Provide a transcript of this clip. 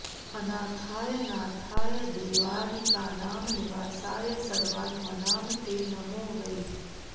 अनाथाय नाथाय देवादिकानां निवासाय सर्वात्मनां ते नमो वै